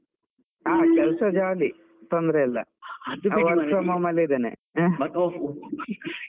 ಹಾ ಕೆಲ್ಸ jolly ತೊಂದ್ರೆ ಇಲ್ಲ, ಅಲ್ಲೇ ಇದ್ದೇನೆ.